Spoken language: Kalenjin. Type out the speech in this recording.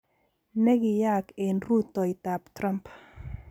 ne kiyaak eng rutoitoab Trump?